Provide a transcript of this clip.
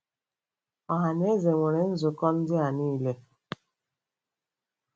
Ọha na eze nwere nzukọ ndị a niile.